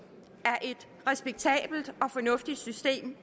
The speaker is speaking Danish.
af og fornuftigt system